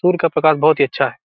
दूर का बहुत ही अच्छा है।